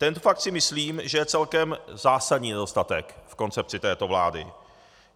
Tento fakt si myslím, že je celkem zásadní nedostatek v koncepci této vlády.